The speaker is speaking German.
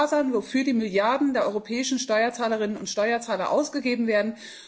Es muss klar sein, wofür die Milliarden der europäischen Steuerzahlerinnen und Steuerzahler ausgegeben werden.